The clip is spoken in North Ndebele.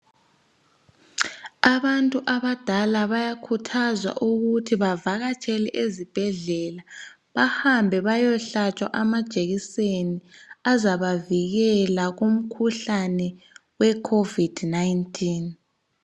Abantu abadala bayakhuthazwa ukuthi bavakatshele ezibhedlela bahambe bayehlatshwa amajekiseni azabavikela kumkhuhlane we COVID-19.